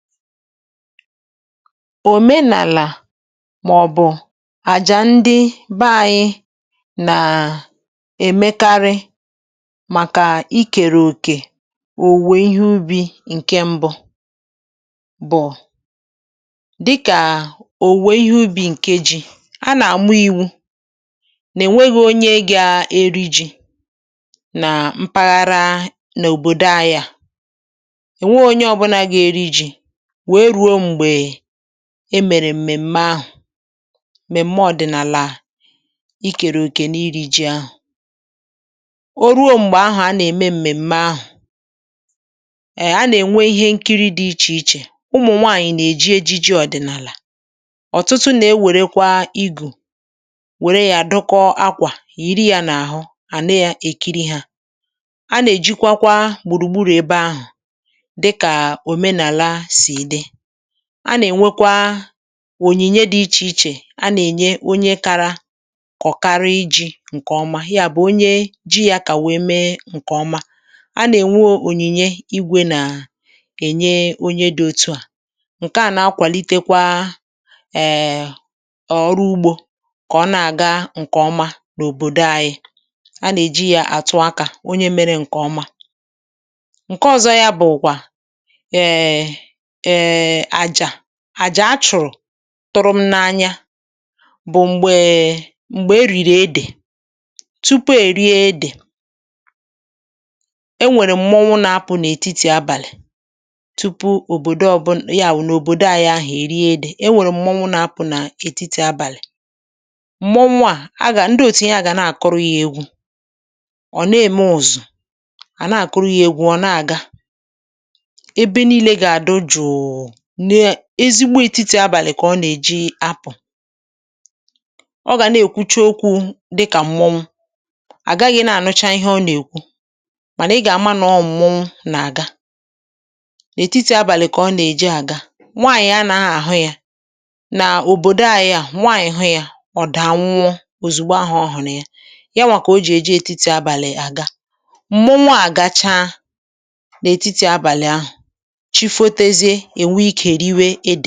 Omenàlà màọ̀bụ̀ àjà ndị bẹ ayị nàà ẹ̀mẹkarị màkà ikèrè òkè òwùwè ihé ubi̇ ǹkẹ mbụ bụ̀ dịkà òwùwè ihé ubi̇ ǹkẹ ji, a nà-àmụ iwu̇ nà ẹ̀nwẹghị̇ onye gȧ eri ji̇ nà mpaghara n’òbòdo ayȧ. Ọ nwee onyé ọbụla gá eri jì wéé rue Mgbe e mèrè m̀mèm̀mẹ ahụ̀. M̀mẹ̀mẹ ọ̀dị̀nàlà ikèrè òkè n’iri̇ ji ahụ̀, o ruo m̀gbè ahụ̀ a nà-ème m̀mèm̀mẹ ahụ̀ um a nà-ènwe ihé nkiri dị̇ ichè ichè ụmụ̀ nwaànyị̀ nà-èji ejiji ọ̀dị̀nàlà ọ̀tụtụ, nà-ewèrekwa igù wère yȧ dụkọ akwà yiri yȧ n’àhụ àna um é èkiri hȧ. A nà-èjikwa kwa gbùrùgburù ebe ahụ̀ dị̀kà um omenala si dị. A nà-ènwekwa ònyìnyé dị̇ íchè ichè a nà-ènye onyé kara kọ̀karị iji̇ ǹkè ọmá yá bụ̀ onye ji yá kà wèe mee ǹkè ọma, a nà-ènwe oɔ̀nyìnyè igwė nà-ènye onye dị̇ otu à ǹke à nà-akwàlitekwa um ọrụ ugbȯ kà ọ na-àga ǹkè ọma n’òbòdò ayị a nà-èji yá àtụ akȧ onyé mẹ̇rẹ̇ ǹkè ọmá. Nkè ọ̀zọ ya bụ̀ kwà um àjà àjà achụ̀rụ̀ tụrụ m n’anya bụ̀ m̀gbè e m̀gbè e rìrì edè tupu è rie edè e nwèrè m̀mọnwụ nȧ-apụ̀ n’ètitì abàlị̀ tupu òbòdo ọbụnà ya wù n’òbòdo àyị ahụ̀ è rie edè e nwèrè m̀mọnwụ nȧ-apụ̀ nà ètitì abàlị̀. M̀mọnwụ à a gà ndị òtu yá gà na-àkụrụ yȧ egwu ọ̀ na-ème ụzụ à na-àkụrụ yȧ egwu ọ̀ na-àga, ébé niile gá àdị jụụ n’ ezigbo etiti abàlị kà ọ nà-èji apụ̀ ọ gà na-èkwucha okwu dịkà mwọnwụ àgaghị na-ànụcha ihé ọ nà-èkwu mànà ị gà-àma nọ mmọnwụ nà àga. Nà etiti abàlị kà ọ nà-èji àga, nwaànyị̀ a nà-àhụ ya nà òbòdo ayị̇ a nwaànyị̀ hụ ya ọ dàa nwụọ òzùgbo ahụ̀ ọhụ ni yá. Nya nwà kà o jì èji etiti abàlị àga. M̀mọnwụ a gachaa n’ètiti abàlị ahụ̀, chi fotezie enwè ikè riwe edè.